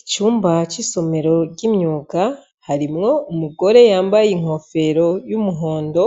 Icumba cisomero ryimyuga harimwo umugore yambaye inkofero yumuhondo